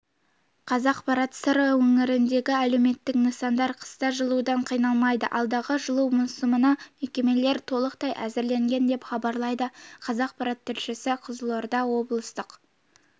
қазақпарат сыр өңіріндегі әлеуметтік нысандар қыста жылудан қиналмайды алдағы жылу маусымына бұл мекемелер толықтай әзірленген деп хабарлайды қазақпарат тілшісі қызылорда облыстық